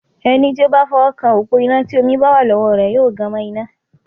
Ẹni tí ó bá fọwọ́ kan òpó iná tí omi bá wà lọ́wọ́ rẹ yóò gan mọ́ iná.